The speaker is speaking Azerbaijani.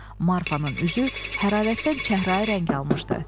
Marfanın üzü hərarətdən çəhrayı rəng almışdı.